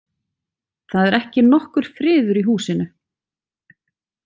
Það er ekki nokkur friður í húsinu.